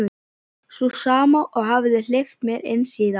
Sú sama og hafði hleypt mér inn síðast.